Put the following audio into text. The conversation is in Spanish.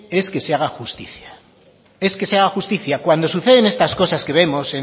es que se haga justicia es que se haga justicia cuando suceden estas cosas que vemos